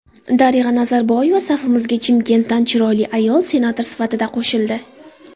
Darig‘a Nazarboyeva: Safimizga Chimkentdan chiroyli ayol senator sifatida qo‘shildi.